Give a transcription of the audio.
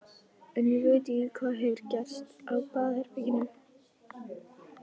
En ég veit ekki hvað hefur gerst á baðherberginu.